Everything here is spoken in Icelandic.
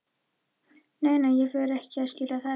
Nei, nei, ég fer ekki að skilja það eftir.